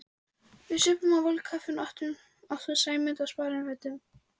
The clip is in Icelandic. Við supum á volgu kaffinu og átum Sæmund á sparifötunum.